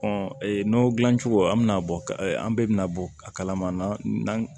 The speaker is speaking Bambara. nɔnɔ dilancogo an bɛna bɔ an bɛɛ bɛ na bɔ a kalama